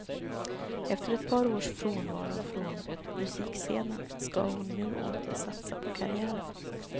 Efter ett par års frånvaro från musikscenen ska hon nu åter satsa på karriären.